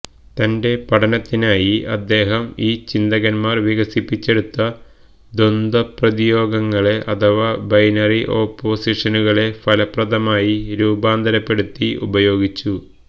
തന്റെ പഠനത്തിനായി അദ്ദേഹം ഈ ചിന്തകന്മാർ വികസിപ്പിച്ചെടുത്ത ദ്വന്ദ്വപ്രതിയോഗങ്ങളെ അഥവാ ബൈനറി ഓപ്പോസിഷനുകളെ ഫലപ്രദമായി രൂപാന്തരപ്പെടുത്തി ഉപയോഗിച്ചു